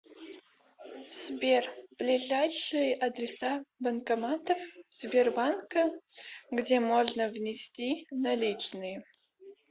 сбер ближайшие адреса банкоматов сбербанка где можно внести наличные